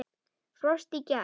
Frost í gær.